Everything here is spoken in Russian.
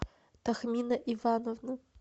тахмина ивановна